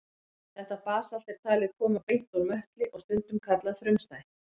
Þetta basalt er talið koma beint úr möttli og stundum kallað frumstætt.